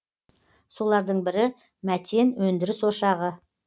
солардың бірі мәтен өндіріс ошағы